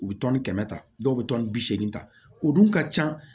U bɛ tɔni kɛmɛ ta dɔw bɛ tɔni bi segin ta o dun ka ca